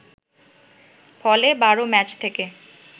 ফলে ১২ ম্যাচ থেকে